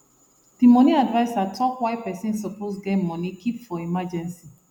the money adviser talk why pesin supposed get money keep for emergency